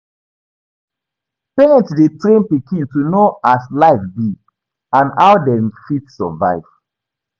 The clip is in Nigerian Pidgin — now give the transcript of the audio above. Parents de train pikin to know as life be and how dem fit survive